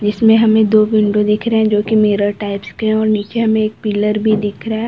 इसमें हमें दो विंडो दिख रहे हैं जो कि मिरर टाइप्स के हैं और नीचे हमें एक पिलर भी दिख रहा है।